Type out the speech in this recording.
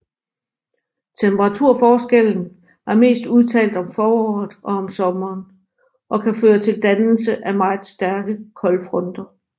Temperaturforskellen er mest udtalt om foråret og sommeren og kan føre til dannelsen af meget stærke koldfronter